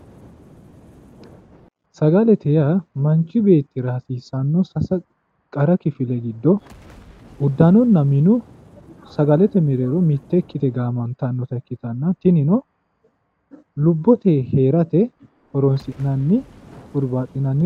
Sagalete yaa manchi beettira hasiisanotta sase qara kifile giddo uddanonna minu sagalete giddo mite ikkite gaamantanotta ikkittanna tinino lubbote heerate horonsi'nanni hurubbaxinanni